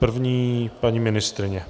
První paní ministryně.